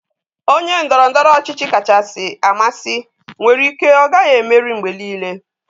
Onye ndoro-ndoro ochichi kachasị amasị nwere ike ọ gaghị emeri mgbe niile.